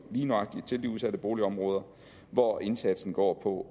lige nøjagtig de udsatte boligområder hvor indsatsen går på